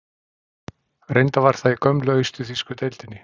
Reyndar var það í gömlu austur-þýsku deildinni.